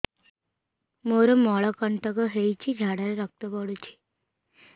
ମୋରୋ ମଳକଣ୍ଟକ ହେଇଚି ଝାଡ଼ାରେ ରକ୍ତ ପଡୁଛି